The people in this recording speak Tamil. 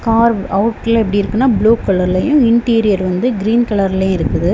கார் அவுட்ல எப்படி இருக்குன்னா ப்ளூ கலர்லயும் இன்டீரியர் கிரீன் கலர்லயும் இருக்குது.